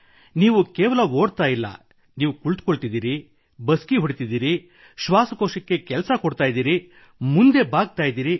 ನೀವು ಕೇವಲ ಓಡುತ್ತಿಲ್ಲ ನೀವು ಕುಳಿತುಕೊಳ್ಳುತ್ತಿದ್ದೀರಿ ಬಸ್ಕಿ ಹೊಡೆಯುತ್ತಿದ್ದೀರಿ ಶ್ವಾಸಕೋಶಕ್ಕೆ ಕೆಲಸ ನೀಡುತ್ತಿದ್ದೀರಿ ಮುಂದೆ ಬಾಗುತ್ತಿದ್ದೀರಿ